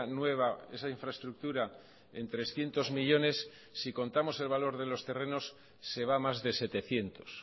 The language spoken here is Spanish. nueva esa infraestructura en trescientos millónes si contamos el valor de los terrenos se va a más de setecientos